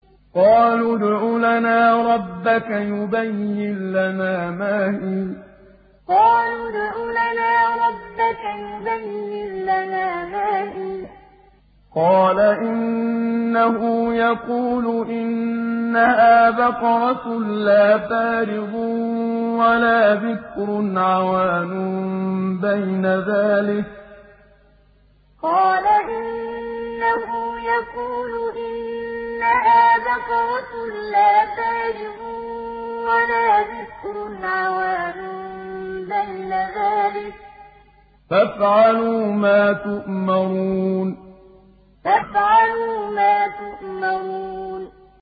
قَالُوا ادْعُ لَنَا رَبَّكَ يُبَيِّن لَّنَا مَا هِيَ ۚ قَالَ إِنَّهُ يَقُولُ إِنَّهَا بَقَرَةٌ لَّا فَارِضٌ وَلَا بِكْرٌ عَوَانٌ بَيْنَ ذَٰلِكَ ۖ فَافْعَلُوا مَا تُؤْمَرُونَ قَالُوا ادْعُ لَنَا رَبَّكَ يُبَيِّن لَّنَا مَا هِيَ ۚ قَالَ إِنَّهُ يَقُولُ إِنَّهَا بَقَرَةٌ لَّا فَارِضٌ وَلَا بِكْرٌ عَوَانٌ بَيْنَ ذَٰلِكَ ۖ فَافْعَلُوا مَا تُؤْمَرُونَ